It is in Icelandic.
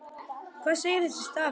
Hvað segir þessi stafur?